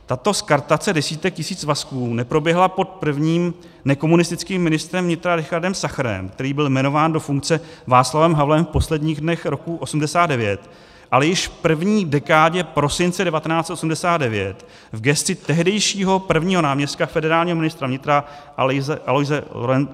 Tato skartace desítek tisíc svazků neproběhla pod prvním nekomunistickým ministrem vnitra Richardem Sacherem, který byl jmenován do funkce Václavem Havlem v posledních dnech roku 1989, ale již v první dekádě prosince 1989 v gesci tehdejšího prvního náměstka federálního ministra vnitra Alojze Lorence.